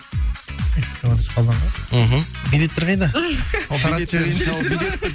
экскаваторщик қалданға мхм билеттер қайда